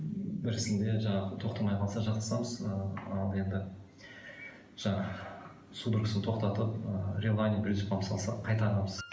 бірісінде жаңағы тоқтамай қалса жатқызамыз ал енді жаңағы судорогасын тоқтатып ы салсақ қайтарамыз